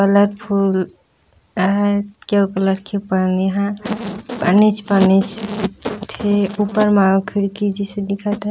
Colourful फूल हे केउ कलर के पन्नी ह पन्नी च पन्नी दिखथे ऊपर म खिड़की जिसे दिखत हे।